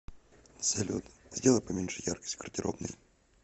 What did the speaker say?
салют сделай поменьше яркость в гардеробной